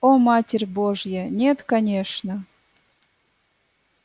о матерь божья нет конечно